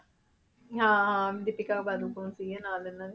ਹਾਂ ਹਾਂ ਦੀਪਿਕਾ ਪਾਦੂਕੋਣ ਸੀਗੇ ਨਾਲ ਇਹਨਾਂ ਦੇ।